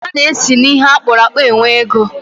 A na-esi n'ihe akpụrụ akpu e nwee ego.